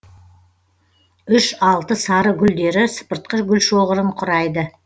үш алты сары гүлдері сыпыртқы гүлшоғырын құрайды